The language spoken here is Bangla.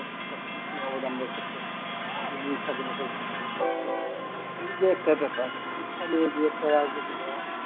সব কিছু অবদান রেখেছেন তিনি স্বাধীনতার সমাধি হয়েছিলেন এই যে একটা ব্যাপার শিক্ষা নিয়ে যে একটা রাজনীতি করা হচ্ছে